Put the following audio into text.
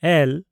ᱮᱹᱞ